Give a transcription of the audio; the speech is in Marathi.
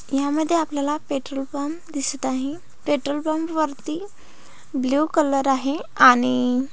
यामध्ये आपल्याला पेट्रोल पंप दिसत आहे पेट्रोलपंप वरती ब्ल्यु कलर आहे आणि --